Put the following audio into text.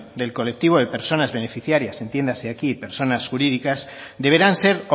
del colectivo de personas beneficiarias entiéndase aquí de personas jurídicas deberán ser